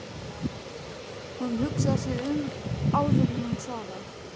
Hún hugsar sig um áður en hún svarar